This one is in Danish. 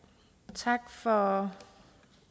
tak for